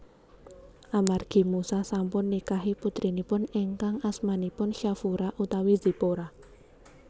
Amargi Musa sampun nikahi putrinipun ingkang asmanipun Shafura utawi Zipora